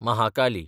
Mahakali